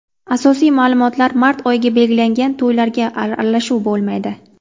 Asosiy ma’lumotlar Mart oyiga belgilangan to‘ylarga aralashuv bo‘lmaydi.